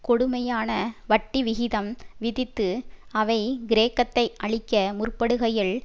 கொடுமையான வட்டி விகிதம் விதித்து அவை கிரேக்கத்தை அழிக்க முற்படுகையில்